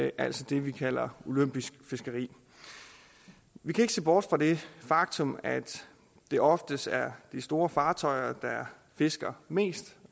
altså det vi kalder olympisk fiskeri vi kan ikke se bort fra det faktum at det oftest er de store fartøjer der fisker mest